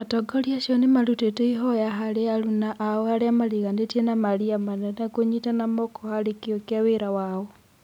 Atongoria acio nĩ marũtĩte ihoya harĩ aruna ao arĩa mariganĩtie na maria manene kũnyitana moko harĩ kĩo kĩa wĩra wao.